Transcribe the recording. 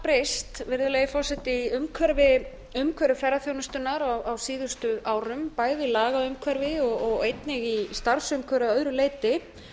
breyst virðulegi forseti í umhverfi ferðaþjónustunnar á síðustu árum bæði lagaumhverfi og einnig í starfsumhverfi að öðru leyti